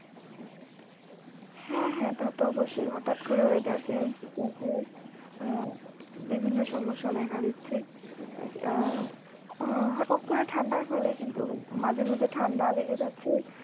হ্যাঁ হ্যাঁ তা তো অবশ্যই হঠাৎ করে weather change হলে আহ বিভিন্ন সমস্যা দেখা দিচ্ছে। আহ হম হটাত করে ঠাণ্ডার ফলে কিন্তু মাঝে মাঝে ঠাণ্ডা লেগে যাচ্ছে।